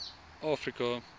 afrika